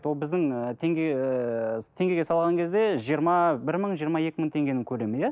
бұл біздің ыыы теңге ыыы теңгеге салған кезде жиырма бір мың жиырма екі мың теңгенің көлемі иә